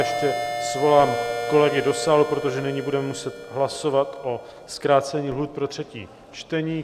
Ještě svolám kolegy do sálu, protože nyní budeme muset hlasovat o zkrácení lhůt pro třetí čtení.